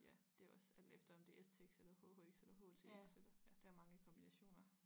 Ja det er også alt efter om det er stx eller hhx eller htx eller ja der er mange kombinationer